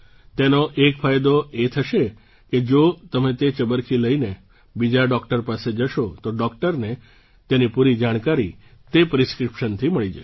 તેનો એક ફાયદો એ થશે કે જો તમે તે ચબરખી લઈને બીજા ડૉક્ટર પાસે જશો તો ડૉક્ટરને તેની પૂરી જાણકારી તે ચબરખીથી મળી જશે